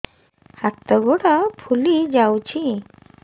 ହାତ ଗୋଡ଼ ଫୁଲି ଯାଉଛି